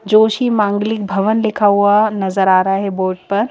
जोशी मांगलिक भवन लिखा हुआ नजर आ रहा है बोर्ड पर।